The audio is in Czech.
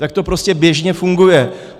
Tak to prostě běžně funguje.